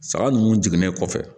Saga ninnu jiginnen kɔfɛ